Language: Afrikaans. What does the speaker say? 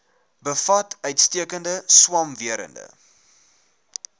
bevat uitstekende swamwerende